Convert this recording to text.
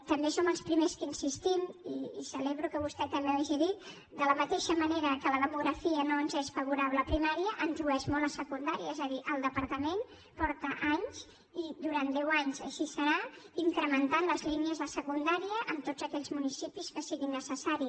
també som els primers que insistim i celebro que vostè també ho hagi dit de la mateixa manera que la demografia no ens és favorable a primària ens ho és molt a secundària és a dir el departament fa anys i durant deu anys així serà que incrementa les línies de secundària en tots aquells municipis que sigui necessari